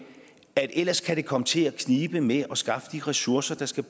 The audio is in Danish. at det ellers kan komme til at knibe med at skaffe de ressourcer der skal